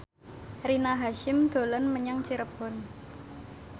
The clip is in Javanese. Rina Hasyim dolan menyang Cirebon